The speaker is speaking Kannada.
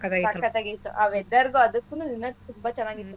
ಸಕ್ಕತ್ತಾಗಿತ್ತು ಆ weather ಗೂ ಅದುಕ್ಕೂ ಇನ್ನೂ ತುಂಬಾ ಚೆನ್ನಾಗಿತ್ತು.